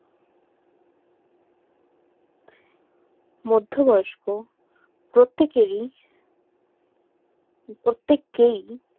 মধ্যে বয়স্ক প্রত্যেক এর ই প্রত্যেককেই